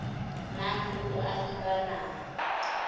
nang le boahi ba naha